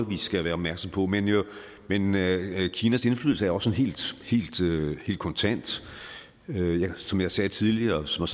vi skal være opmærksom på men kinas indflydelse er også helt kontant som jeg sagde tidligere og som